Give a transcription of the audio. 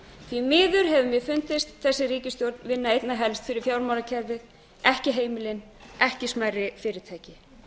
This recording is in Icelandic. því miður hefur mér fundist þessi ríkisstjórn vinna einna helst fyrir fjármálakerfið ekki heimilin ekki smærri fyrirtæki